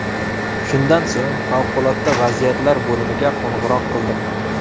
Shundan so‘ng favqulodda vaziyatlar bo‘limiga qo‘ng‘iroq qildim.